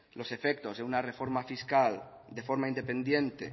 los efectos de una reforma fiscal de forma independiente